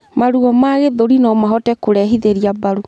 Maruo ma gĩthũri nomahote kurehithirĩa mbaru